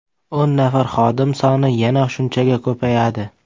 O‘n nafar xodim soni yana shunchaga ko‘payadi.